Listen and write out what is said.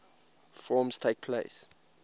forms takes place